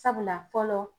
Sabula fɔlɔ